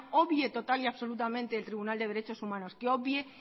obvie total y absolutamente el tribunal de derechos humanos que obvie